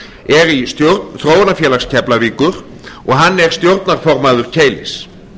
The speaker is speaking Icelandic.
er í stjórn þróunarfélags keflavíkur og hann er stjórnarformaður keilis